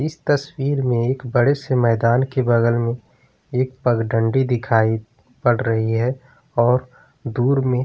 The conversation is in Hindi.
इस तस्वीर में एक बड़े से मैदान के बगल में एक पगडण्डी दिखाई पड़ रही है और दूर में--